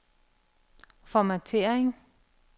formattering